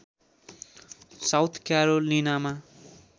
south क्यारोलिनामा